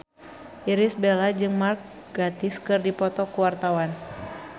Irish Bella jeung Mark Gatiss keur dipoto ku wartawan